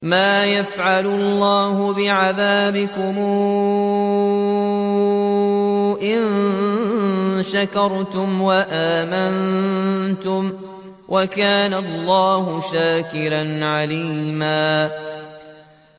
مَّا يَفْعَلُ اللَّهُ بِعَذَابِكُمْ إِن شَكَرْتُمْ وَآمَنتُمْ ۚ وَكَانَ اللَّهُ شَاكِرًا عَلِيمًا